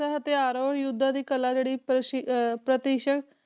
ਹਥਿਆਰ ਔਰ ਯੁੱਧਾਂ ਦੀ ਕਲਾ ਜਿਹੜੀ ਅਹ